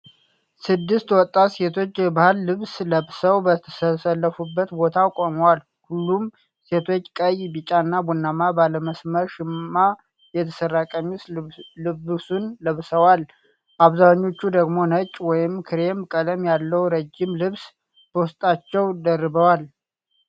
ስድስት ወጣት ሴቶች የባህል ልብስ ለብሰው በተሰለፉበት ቦታ ቆመዋል። ሁሉም ሴቶች ቀይ፣ ቢጫና ቡናማ ባለመስመር ሸማ የተሰራ ቀሚስ ልብሱን ለብሰዋል። አብዛኞቹ ደግሞ ነጭ ወይም ክሬም ቀለም ያለው ረዥም ልብስ በውስጣቸው ደርበዋል።